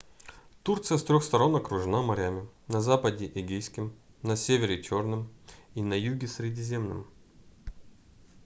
турция с трёх сторон окружена морями на западе эгейским на севере чёрным и на юге средиземным